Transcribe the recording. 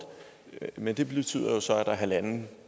men det betyder jo så at der er halvanden